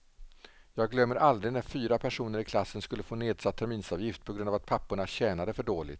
Jag glömmer aldrig när fyra personer i klassen skulle få nedsatt terminsavgift på grund av att papporna tjänade för dåligt.